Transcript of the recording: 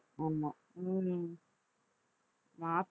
ஆமா ஹம் மார்ச்